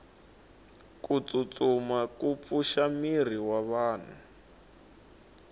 kutsutsuma kupfusha miri wavanhu